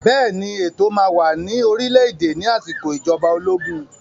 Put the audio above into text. Bẹ́ẹ̀ ni, ètò máa wà ní orílẹ̀-èdè ní àsìkò ìjọba ológun